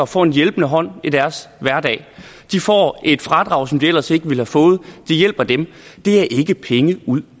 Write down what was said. får en hjælpende hånd i deres hverdag de får et fradrag som de ellers ikke ville have fået det hjælper dem det er ikke penge ud